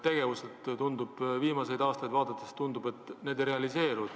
Aga viimaseid aastaid vaadates tundub, et teie plaanitu ei realiseeru.